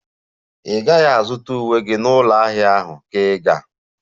Ị gaghị azụta uwe gị n'ụlọ ahịa ahụ, ka ị ga-?